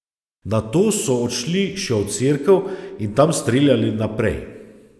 Nato so odšli še v cerkev in tam streljali naprej.